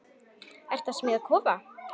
Ertu að smíða kofa?